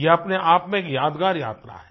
यह अपने आप में एक यादगार यात्रा है